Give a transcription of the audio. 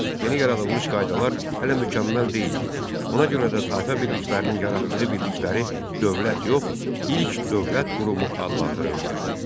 Yeni yaradılmış qaydalar hələ mükəmməl deyildi, ona görə də tayfa birliklərinin yaratdığı birlikləri dövlət yox, ilk dövlət qurumu adlandırırdılar.